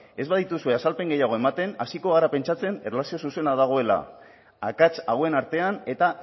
ez badituze azalpen gehiago ematen hasiko gara pentsatzen erlazio zuzena dagoela akats hauen artean eta